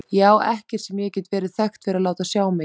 Ég á ekkert sem ég get verið þekkt fyrir að láta sjá mig í.